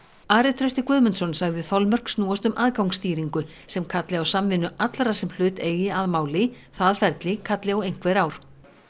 Ari Trausti Guðmundsson sagði þolmörk snúast um aðgangsstýringu sem kalli á samvinnu allra sem hlut eigi að máli það ferli kalli á einhver ár